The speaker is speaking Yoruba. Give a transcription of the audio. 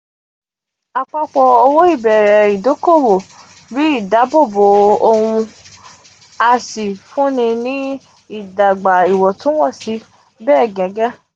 apapọ ow ibere um idokowo ri idabobo ohun um a si funni ni idagba iwọntunwọnsi be gege.